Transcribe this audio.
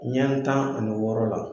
Ɲɛn tan ani wɔɔrɔ la.